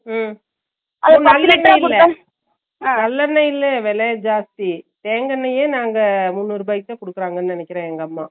ஹம் நல்லெண்ணயே இல்ல வேல ஜாஸ்த்தி தேங்கா எண்ணையே நாங்க முண்ணூறுவாக்கு குடுக்குறாங்க நினைக்குறே எங்க அம்மா